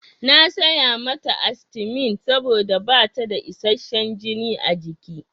Na saya mata astimin saboda bata da isasshen jini a jiki.